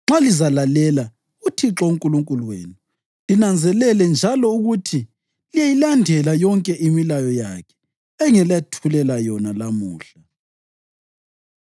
nxa lizalalela uThixo uNkulunkulu wenu linanzelele njalo ukuthi liyayilandela yonke imilayo yakhe engilethulela yona lamuhla.